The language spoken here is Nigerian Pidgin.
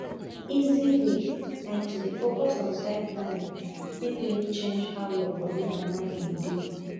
easy way like to dey focus on time planning fit really change how your body and mind go dey